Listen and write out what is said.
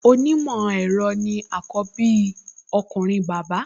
Onímọ̀ ẹ̀rọ ni àkọ́bí ọkùnrin bàbá